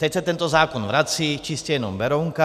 Teď se tento zákon vrací, čistě jenom Berounka.